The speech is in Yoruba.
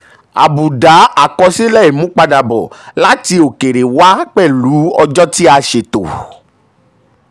àbùdá àkọsílẹ̀ imúpadàbọ̀ láti òkèèrè wá pẹ̀lú ọjọ́ tí a ṣètò.